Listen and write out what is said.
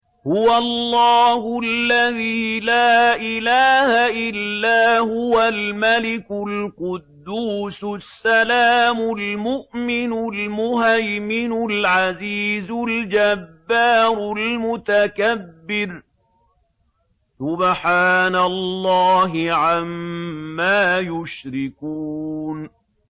هُوَ اللَّهُ الَّذِي لَا إِلَٰهَ إِلَّا هُوَ الْمَلِكُ الْقُدُّوسُ السَّلَامُ الْمُؤْمِنُ الْمُهَيْمِنُ الْعَزِيزُ الْجَبَّارُ الْمُتَكَبِّرُ ۚ سُبْحَانَ اللَّهِ عَمَّا يُشْرِكُونَ